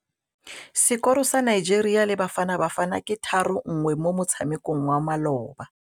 Sekôrô sa Nigeria le Bafanabafana ke 3-1 mo motshamekong wa malôba.